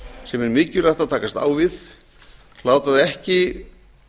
sem er mikilvægt að takast á við láta það ekki